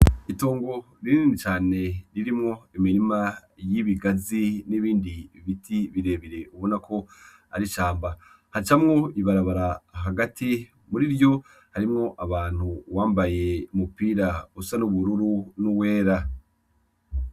Itongo ririni cane ririmwo imirima y'ibigazi n'ibindi ibiti birebire ubona ko arishamba hacamwo ibarabara hagati muri ryo harimwo abantu uwambaye umupira usa n'ubururu n'uwera.